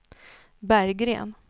Berggren